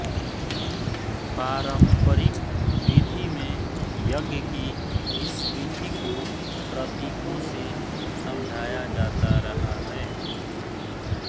पारंपरिक विधि में यज्ञ की इस विधि को प्रतीकों से समझाया जाता रहा है